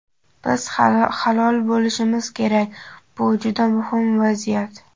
Biz halol bo‘lishimiz kerak – bu juda muhim vaziyat.